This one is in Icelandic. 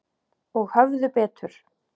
Og höfðu betur.